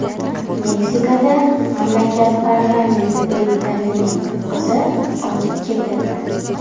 Meksikada mamlakat parlamenti deputatining qizi otib ketildi .